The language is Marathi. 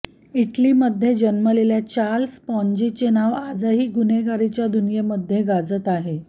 इटलीमध्ये जन्मलेल्या चार्ल्स पॉन्जीचे नाव आजही गुन्हेगारीच्या दुनियेमध्ये गाजत आहे